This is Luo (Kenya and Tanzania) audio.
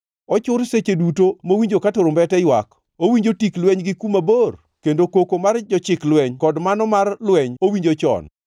Ochur seche duto mowinjo ka turumbete ywak! Owinjo tik lweny gi kuma bor, kendo koko mar jochik lweny kod mano mar lweny owinjo chon.